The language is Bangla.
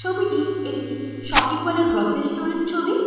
ছবিটি একটি শপিং মল -এর গ্রসারি স্টোর -এর ছবি।